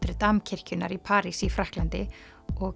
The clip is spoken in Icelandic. Dame kirkjunnar í París í Frakklandi og